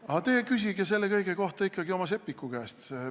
Aga te küsige selle kõige kohta ikkagi oma Seppiku käest.